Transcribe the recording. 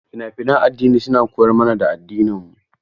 Fina-finan addini suna koyar mana da addininmu.